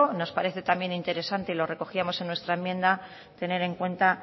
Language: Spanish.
nos parece también interesante y lo recogíamos en nuestra enmienda tener en cuenta